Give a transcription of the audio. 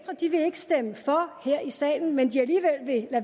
stemme for her i salen men